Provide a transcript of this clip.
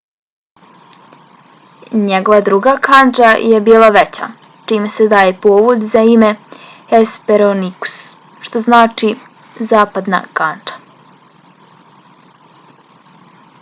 njegova druga kandža je bila veća čime se daje povod za ime hesperonikus što znači zapadna kandža